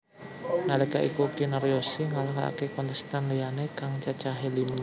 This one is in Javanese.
Nalika iku Kinaryosih ngalahaké kontestan liyané kang cacahé lima